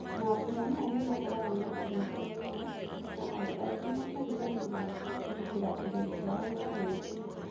Mambũra maya nĩmakoragwo na ũrebi muno, na andũ aingĩ makariganĩrwo kũgitĩra indo ciao marebia.